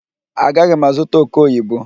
Agaghị m azụta oke oyibo.